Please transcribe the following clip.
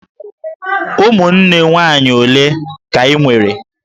Ụmụnne nwaanyị ole ka I nwere?